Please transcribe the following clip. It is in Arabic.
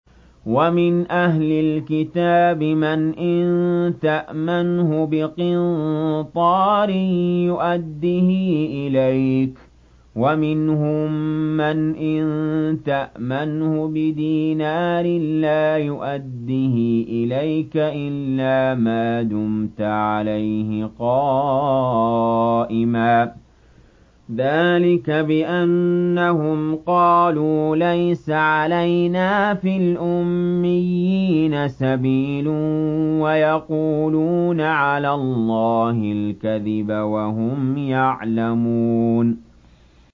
۞ وَمِنْ أَهْلِ الْكِتَابِ مَنْ إِن تَأْمَنْهُ بِقِنطَارٍ يُؤَدِّهِ إِلَيْكَ وَمِنْهُم مَّنْ إِن تَأْمَنْهُ بِدِينَارٍ لَّا يُؤَدِّهِ إِلَيْكَ إِلَّا مَا دُمْتَ عَلَيْهِ قَائِمًا ۗ ذَٰلِكَ بِأَنَّهُمْ قَالُوا لَيْسَ عَلَيْنَا فِي الْأُمِّيِّينَ سَبِيلٌ وَيَقُولُونَ عَلَى اللَّهِ الْكَذِبَ وَهُمْ يَعْلَمُونَ